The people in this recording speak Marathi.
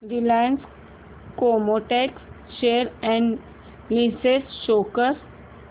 Reliance Chemotex share analysis show कर